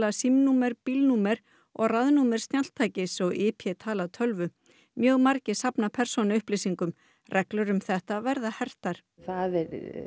símanúmer og raðnúmer snjalltækis og i p tala tölvu mjög margir safna persónuupplýsingum reglur um þetta verða hertar það er